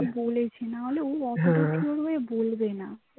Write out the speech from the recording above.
বলেছে, না হলে ও অতো হেঁ হেঁ তো sure হয়ে বলবে না